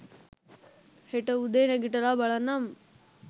හෙට උදේ නැගිටලා බලන්නම්